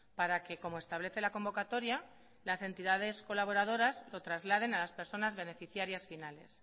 para que como establece la convocatoria las entidades colaboradoras lo trasladen a las personas beneficiarias finales